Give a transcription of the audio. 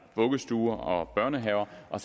vuggestue og børnehave og